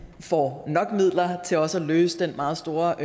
får nok midler til også at løse den meget store